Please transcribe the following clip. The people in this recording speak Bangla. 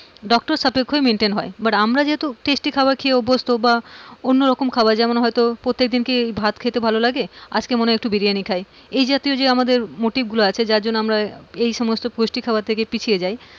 doctor সাপেক্ষই maintain হয়, আমরা যেহেতু tasty খাবার খেয়ে অভ্যস্থ বা অন্য রকম খাবার প্রত্যেকদিন কি ভাত খেতে ভালো লাগে আজকে একটু মনে হয় বিরিয়ানি খাই এই জাতীয় যে আমাদের motive গুলো আছে যার জন্য আমরা এই সমস্ত পুষ্টি খাবার থেকে পিছিয়ে যাই,